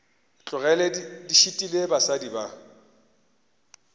tlogele di šitile basadi ba